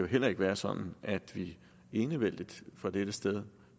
heller ikke være sådan at vi enevældigt fra dette sted